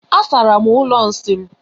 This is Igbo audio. Asara m ụlọ nsị m.